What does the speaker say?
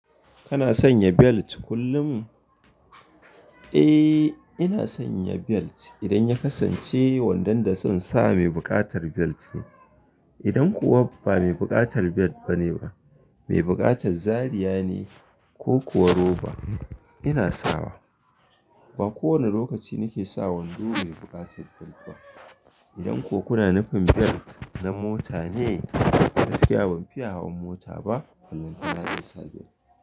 Kana sanya belt kullum? Eh, ina sanya belt, idan ya kasance wandon da zan sa mai buƙatar belt ne. Idan kuwa ba mai buƙatar belt bane ba, mai buƙatar zariya ne, ko kuwa roba, ina sawa. Ba kowane lokaci nake sa wando, mai buƙatar belt ba. Idan ko kuna nufin belt na mota ne, gaskiya ban fiya hawan mota ba, ballantana insa belt.